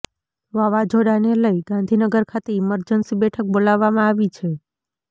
વાવાઝોડાને લઇ ગાંધીનગર ખાતે ઇમરજન્સી બેઠક બોલાવવામાં આવી છે